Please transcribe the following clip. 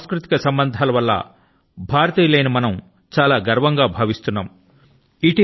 ఈ సాంస్కృతిక సంబంధాల వల్ల భారతీయులైన మనం చాలా గర్వం గా భావిస్తున్నాం